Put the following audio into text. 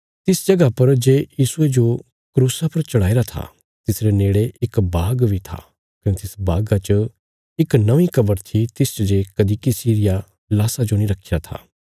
तिस जगह पर जे यीशुये जो क्रूसा पर चढ़ाईरा था तिसरे नेड़े इक बाग बी था कने तिस बागा च इक नौंईं कब्र थी तिसच जे कदीं किसी रिया लाशा जो नीं रखीरा था